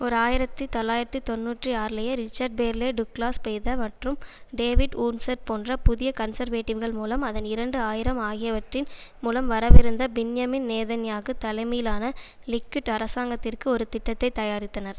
ஓர் ஆயிரத்தி தொள்ளாயிரத்து தொன்னூற்றி ஆறுலேயே ரிச்சார்ட் பேர்லே டுக்லாஸ் பெய்த மற்றும் டேவிட் வூர்ம்செர் போன்ற புதிய கன்சர்வேடிவ்கள் மூலம் அதன் இரண்டு ஆயிரம் ஆகியவற்றின் மூலம் வரவிருந்த பின்யமின் நேதன்யாகு தலைமையிலான லிக்குட் அரசாங்கத்திற்கு ஒரு திட்டத்தை தயாரித்தனர்